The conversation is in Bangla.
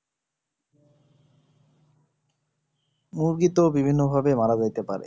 মুরগি তো বিভিন্ন ভাবে মারা যাইতে পারে